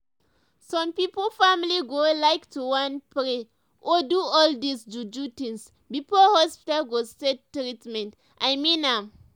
some pipo family go like to wan pray or do all dis ju-ju things before hospital go start treatment and i mean am.